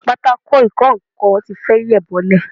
Pátákò ìkọ nǹkan ti fẹ́ yẹ̀ bọ́lẹ̀